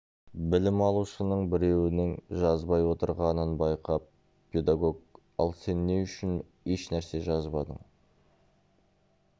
білім алушының біреуінің жазбай отырғанын байқап педагог ал сен не үшін ешнәрсе жазбадың